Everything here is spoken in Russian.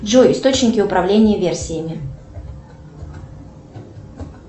джой источники управления версиями